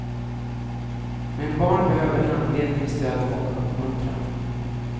Men barn behöver handledning, stöd och uppmuntran.